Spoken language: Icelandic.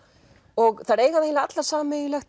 og þær eiga það eiginlega allar sameiginlegt